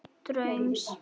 Án draums.